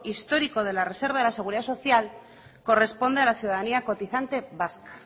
histórico de la reserva de la seguridad social corresponde a la ciudadanía cotizante vasca